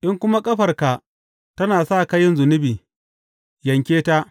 In kuma ƙafarka tana sa ka yin zunubi, yanke ta.